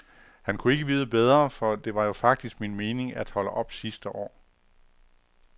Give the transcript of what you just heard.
Han kunne ikke vide bedre, for det var jo faktisk min mening at holde op sidste år.